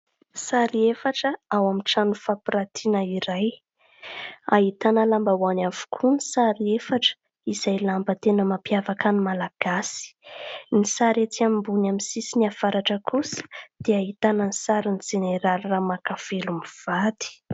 Sary efatra ao amin'ny trano fampirantiana iray. Ahitana lambahoany avokoa ny sary efatra izay lamba tena mampiavaka ny Malagasy, ny sary etsy ambony amin'ny sisiny avaratra kosa dia ahitana ny sarin'i jeneraly Ramakavelo mivady.